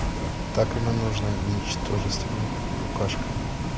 так ему нужна ничтожеством и букашка